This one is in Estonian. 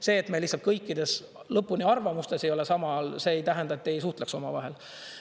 See, et me lihtsalt kõikides lõpuni arvamustes ei ole, samal ajal ei tähenda, et me ei suhtleks omavahel.